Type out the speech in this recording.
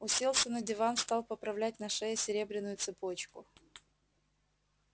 уселся на диван стал поправлять на шее серебряную цепочку